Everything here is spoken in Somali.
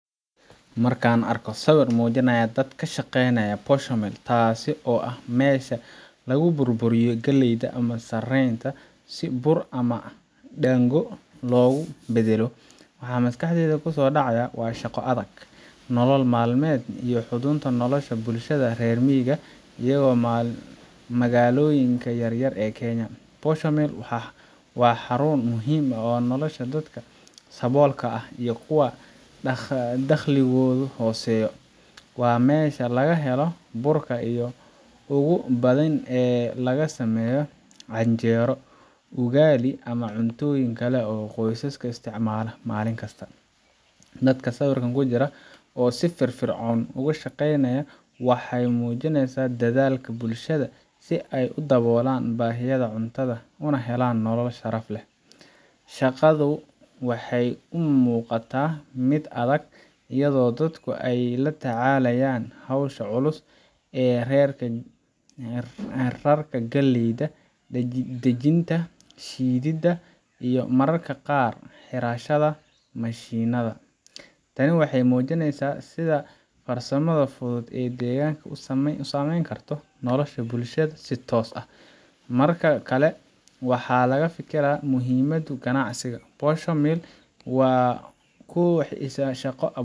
Markaan arko sawir muujinaya dad ka shaqeynaya Posho Mill taasoo ah meesha lagu burburiyo galleyda ama sarreenka si bur ama daango loogu beddelo waxa maskaxdayda ku soo dhacaya shaqo adag, nolol maalmeed iyo xudunta nolosha bulshada reer miyiga iyo magaalooyinka yaryar ee Kenya. Posho Mill ka waa xarun muhiim u ah nolosha dadka saboolka ah iyo kuwa dakhligoodu hooseeyo. Waa meesha laga helo burka ugu badan ee laga sameeyo canjeero, ugali ama cuntooyinka kale ee qoysaska isticmaalaan maalin kasta. Dadka sawirka ku jira oo si firfircoon uga shaqeynaya waxa ay muujinayaan dadaalka bulshada si ay u daboolaan baahiyaha cuntada, una helaan nolol sharaf leh. Shaqadu waxay u muuqataa mid adag, iyadoo dadku ay la tacaalayaan hawsha culus ee rarka galleyda, dajinta, shiididda iyo mararka qaar xirashada mashiinnada. Tani waxay muujinaysaa sida farsamada fudud ee deegaanka u saameyn karto nolosha bulshada si toos ah. Marka kale, waxaan ka fikiraa muhiimadda ganacsigan Posho Mill ku waa isha shaqo.